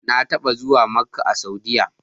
Na taɓa zuwa Makka a Saudiyya.